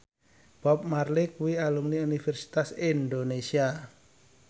Bob Marley kuwi alumni Universitas Indonesia